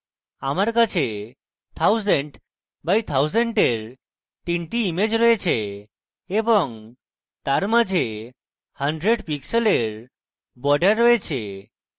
আমার কাছে 1000 by 1000 এর তিনটি ইমেজ রয়েছে এবং তার মাঝে 100 pixels border রয়েছে